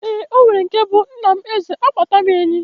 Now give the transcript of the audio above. Eeǃ Onwere nke bụ Nna m Eze a kpata m enyi.